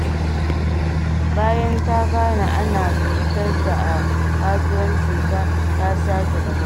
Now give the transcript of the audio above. Bayan ta gane ana cutar ta a kasuwancinta, ta sake dabara.